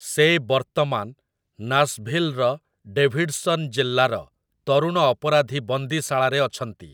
ସେ ବର୍ତ୍ତମାନ ନାଶଭିଲ୍‌ର ଡେଭିଡସନ୍‌ ଜିଲ୍ଲାର ତରୁଣ ଅପରାଧୀ ବନ୍ଦିଶାଳାରେ ଅଛନ୍ତି ।